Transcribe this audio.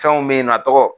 Fɛnw bɛ yen nɔ tɔgɔ